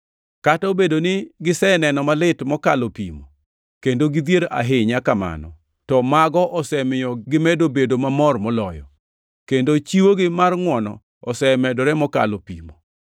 Kata obedo ni giseneno malit mokalo pimo, kendo gidhier ahinya kamano, to mago osemiyo gimedo bedo mamor moloyo, kendo chiwogi mar ngʼwono osemedore mokalo pimo.